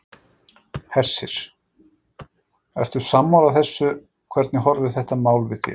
Hersir: Ertu sammála þessu, hvernig horfir þetta mál við þér?